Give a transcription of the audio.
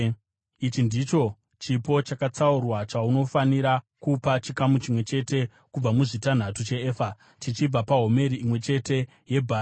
“ ‘Ichi ndicho chipo chakatsaurwa chaunofanira kupa: chikamu chimwe chete kubva muzvitanhatu cheefa chichibva pahomeri imwe neimwe yebhari.